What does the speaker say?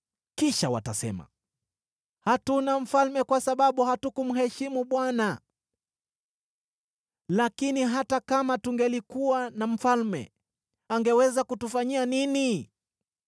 Kisha watasema, “Hatuna mfalme kwa sababu hatukumheshimu Bwana . Lakini hata kama tungelikuwa na mfalme, angeweza kutufanyia nini?”